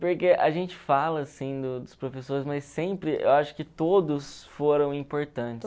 Porque a gente fala, assim, do dos professores, mas sempre, eu acho que todos foram importantes.